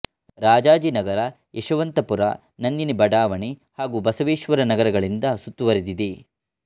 ರಾಜಾಜಿ ನಗರ ಯಶವಂತಪುರ ನಂದಿನಿ ಬಡಾವಣೆ ಹಾಗು ಬಸವೇಶ್ವರ ನಗರಗಳಿಂದ ಸುತ್ತುವರೆದಿದೆ